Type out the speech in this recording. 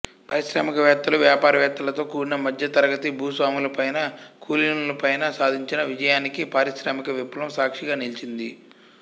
పారిశ్రామికవేత్తలూ వ్యాపారవేత్తలతో కూడిన మధ్యతరగతి భూస్వాములపైన కులీనులపైన సాధించిన విజయానికి పారిశ్రామిక విప్లవం సాక్షిగా నిలిచింది